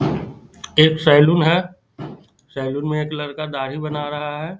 एक सलून है सलून में एक लड़का दाड़ी बना रहा है।